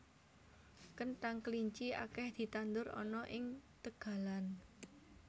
Kenthang kelinci akeh ditandur ana ing tegalan